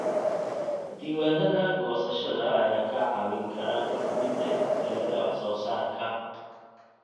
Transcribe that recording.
Diiwaanada goosashada ayaa kaa caawin kara go'aaminta isbeddellada wax soo saarka.